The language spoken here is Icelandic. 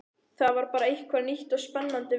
Það var bara eitthvað nýtt og spennandi við hann.